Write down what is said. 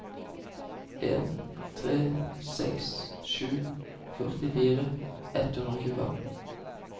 en tre seks sju førtifire ett hundre og tjuefem